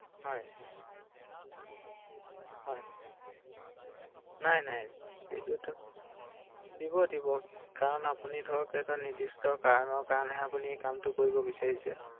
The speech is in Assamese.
মোৰ একান্টটো ট্ৰেন্সফাৰ কৰিব বিছাৰিছো ৷ তেওঁ বাৰু বেয়া পাব নেকি৷মোক নিবলৈ দিব নে নিদিয়ে বাৰু একান্টটো